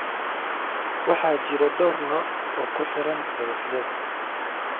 Waxaa jira dhowr nooc oo ku xiran hadafyada